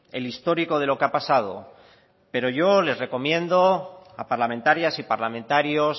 el histórico de lo que ha pasado pero yo les recomiendo a parlamentarias y parlamentarios